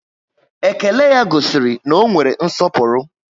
Ékélé ya gosiri na ọ nwere nsọpụrụ